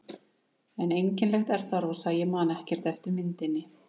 En einkennilegt er það, Rósa, að ég man ekkert eftir myndinni.